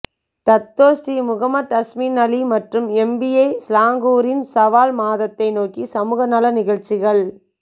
Dato Sri Mohamed Azmin Ali மற்றும் MBI சிலாங்கூரின் ஷாவால் மாதத்தை நோக்கி சமூக நல நிகழ்ச்சிகள்